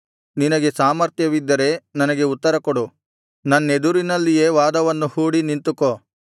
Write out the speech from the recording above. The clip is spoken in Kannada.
ನಿನಗೆ ಸಾಮರ್ಥ್ಯವಿದ್ದರೆ ನನಗೆ ಉತ್ತರಕೊಡು ನನ್ನೆದುರಿನಲ್ಲಿಯೇ ವಾದವನ್ನು ಹೂಡಿ ನಿಂತುಕೋ